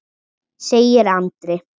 segir Andri.